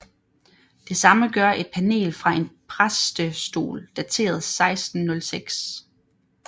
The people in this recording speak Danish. Det samme gør et panel fra en præstestol dateret 1606